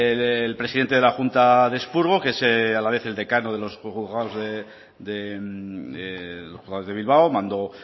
el presidente de la junta de expurgo que es a la vez el decano de los juzgados de bilbao mando